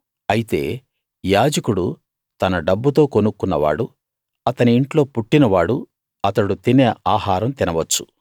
అయితే యాజకుడు తన డబ్బుతో కొనుక్కున్న వాడు అతని ఇంట్లో పుట్టినవాడు అతడు తినే ఆహారం తినవచ్చు